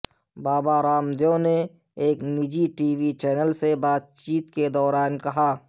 بابا رام دیو نے ایک نجی ٹی وی چینل سے بات چیت کے دوران کہا